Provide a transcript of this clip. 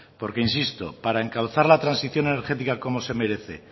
porque insisto para encauzar la transición energética como se merece